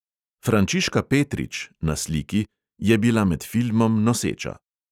Frančiška petrič (na sliki) je bila med filmom noseča.